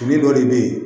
Fini dɔ de bɛ ye